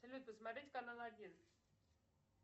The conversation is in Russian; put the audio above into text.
салют посмотреть канал один